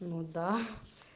ну да